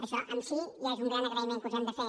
això en si ja és un gran agraïment que us hem de fer